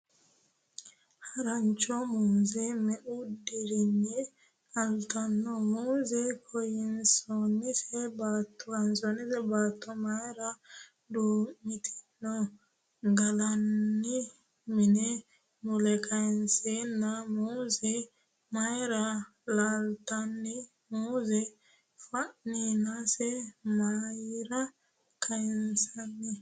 Harancho Muuze me'u dirinni qaltanno ? Muuze kayinsoonni baatto mayra duu'mitinnohu ? Galllanni mini mule kayinsanni muuze mayra lattanno ? Muuze fafinse mayra kayinsanni ?